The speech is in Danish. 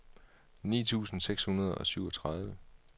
ni tusind seks hundrede og syvogtredive